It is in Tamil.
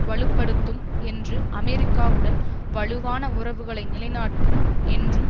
வலு படுத்தும் என்று அமெரிக்காவுடன் வலுவான உறவுகளை நிலைநாட்டும் என்றும்